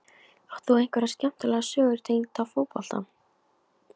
Átt þú einhverja skemmtilega sögur tengda fótbolta?